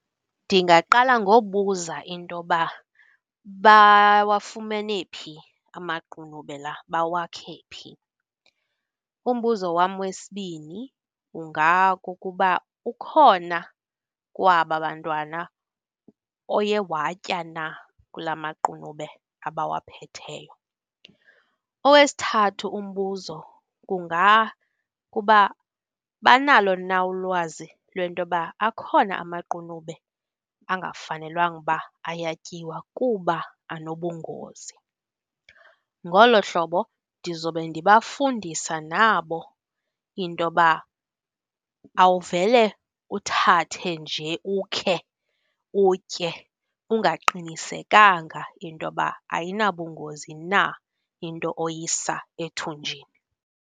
Ndingaqala ngobuza intoba bawafumene phi amaqunube la, bawakhe phi. Umbuzo wam wesibini ungakukuba ukhona kwaba bantwana oye watya na kula maqunube abawaphetheyo. Owesithathu umbuzo kungakuba banalo na ulwazi lwentoba akhona amaqunube angafanelwanga uba ayatyiwa kuba anobungozi. Ngolo hlobo ndizobe ndibafundisa nabo intoba awuvele uthathe nje, ukhe utye ungaqinisekanga intoba ayinabungozi na into oyisa ethunjini.